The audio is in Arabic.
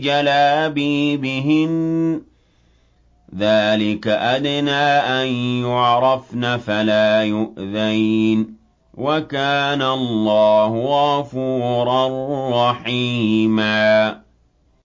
جَلَابِيبِهِنَّ ۚ ذَٰلِكَ أَدْنَىٰ أَن يُعْرَفْنَ فَلَا يُؤْذَيْنَ ۗ وَكَانَ اللَّهُ غَفُورًا رَّحِيمًا